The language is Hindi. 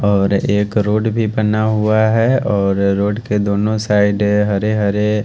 और एक रोड भी बना हुआ है और रोड के दोनों साइड हरे हरे--